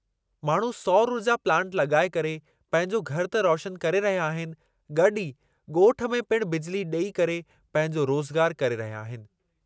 माण्हू सौर ऊर्जा प्लांट लॻाए करे पंहिंजो घरु त रोशनु करे रहिया आहिनि गॾु ई ॻोठ में पिणु बिजिली ॾेई करे पंहिंजो रोज़गारु करे रहिया आहिनि।